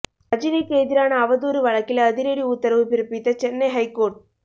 ரஜினிக்கு எதிரான அவதூறு வழக்கில் அதிரடி உத்தரவு பிறப்பித்த சென்னை ஐகோர்ட்